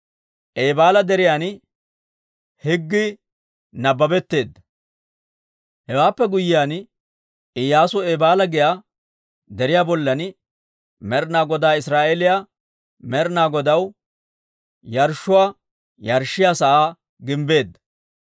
Hewaappe guyyiyaan Iyyaasu Eebaala giyaa deriyaa bollan Med'ina Godaw Israa'eeliyaa Med'ina Godaw yarshshuwaa yarshshiyaa sa'aa gimbbeedda.